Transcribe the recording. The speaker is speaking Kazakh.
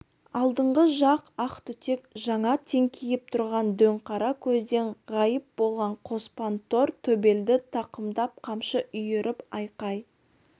алдыңғы жақ ақ түтек жаңа теңкиіп тұрған дөңқара көзден ғайып болған қоспан тор төбелді тақымдап қамшы үйіріп айқай